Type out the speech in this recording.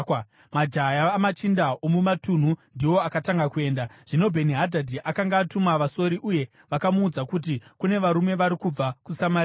Majaya amachinda omumatunhu ndiwo akatanga kuenda. Zvino Bheni-Hadhadhi akanga atuma vasori uye vakamuudza kuti, “Kune varume vari kubva kuSamaria.”